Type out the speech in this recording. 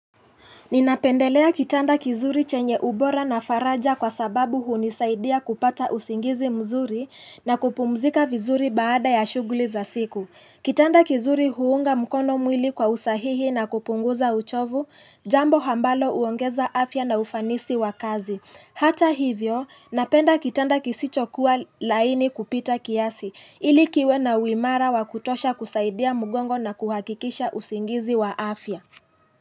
Ninapendelea kitanda kizuri chenye ubora na faraja kwa sababu hunisaidia kupata usingizi mzuri na kupumzika vizuri baada ya shuguli za siku Kitanda kizuri huunga mkono mwili kwa usahihi na kupunguza uchovu jambo ambalo huongeza afya na ufanisi wa kazi Hata hivyo napenda kitanda kisicho kuwa laini kupita kiasi ili kiwe na uimara wa kutosha kusaidia mgongo na kuhakikisha usingizi wa afya.